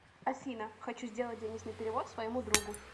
афина хочу сделать денежный перевод своему другу